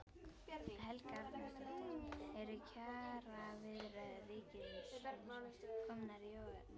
Helga Arnardóttir: Eru kjaraviðræður ríkisins komnar í óefni?